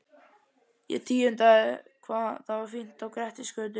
Ég tíundaði hvað það var fínt á Grettisgötu.